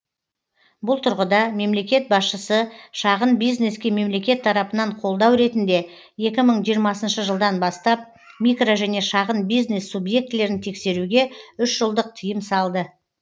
бұл тұрғыда мемлекет басшысы шағын бизнеске мемлекет тарапынан қолдау ретінде екі мың жиырмасыншы жылдан бастап микро және шағын бизнес субъектілерін тексеруге үш жылдық тиым салды